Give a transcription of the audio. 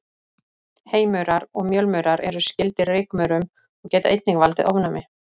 Heymaurar og mjölmaurar eru skyldir rykmaurum og geta einnig valdið ofnæmi.